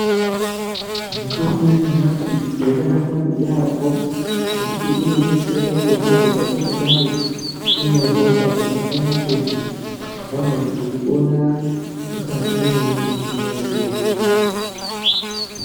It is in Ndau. Mitombo yanyamashi yakanaka yampho ngekuti inodetsera ponapo patingadai tiine hosha dzakasiyana siyana dzingadai dzeipona mukati mwemutumbi wedu.